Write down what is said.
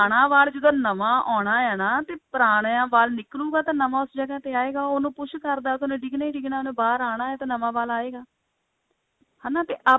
ਵਾਲ ਜਦੋਂ ਨਵਾਂ ਆਉਣਾ ਹੈ ਨਾ ਤਾਂ ਪੁਰਾਣੀਆਂ ਵਾਲ ਨਿਕ੍ਲੁਗਾ ਤਾਂ ਨਵਾਂ ਉਸ ਜਗ੍ਹਾ ਤੇ ਆਏਗਾ ਉਹ ਉਹਨੂੰ push ਕਰਦਾ ਤੇ ਉਹਨੇ ਡਿਗਣਾ ਹੀ ਡਿਗਣਾ ਹੈ ਤੇ ਉਹਨੇ ਬਾਹਰ ਆਨਾ ਤੇ ਨਵਾਂ ਵਾਲ ਆਏਗਾ ਹਨਾ ਤੇ